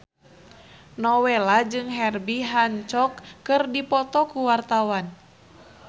Nowela jeung Herbie Hancock keur dipoto ku wartawan